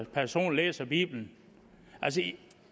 person læser bibelen altså